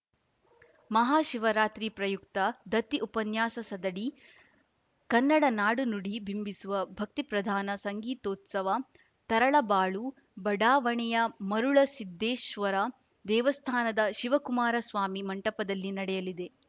ಮಹಾಶಿವರಾತ್ರಿ ಪ್ರಯುಕ್ತ ದತ್ತಿ ಉಪನ್ಯಾಸಸದಡಿ ಕನ್ನಡ ನಾಡು ನುಡಿ ಬಿಂಬಿಸುವ ಭಕ್ತಿಪ್ರಧಾನ ಸಂಗೀತೋತ್ಸವ ತರಳಬಾಳು ಬಡಾವಣೆಯ ಮರುಳಸಿದ್ಧೇಶ್ವರ ದೇವಸ್ಥಾನದ ಶಿವಕುಮಾರ ಸ್ವಾಮಿ ಮಂಟಪದಲ್ಲಿ ನಡೆಯಲಿದೆ